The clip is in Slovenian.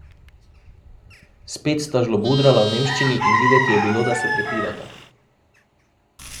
Spet sta žlobudrala v nemščini in videti je bilo, da se prepirata.